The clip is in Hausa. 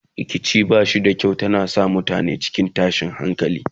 rikici bashi da kyau tana sa mutane cikin tashin hankali